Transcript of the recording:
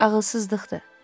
Ağılsızlıqdır.